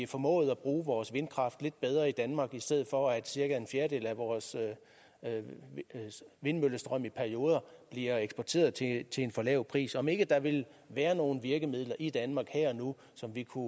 formåede at bruge vores vindkraft lidt bedre i danmark i stedet for at cirka en fjerdedel af vores vindmøllestrøm i perioder bliver eksporteret til en for lav pris om ikke der vil være nogle virkemidler i danmark her og nu som vi kunne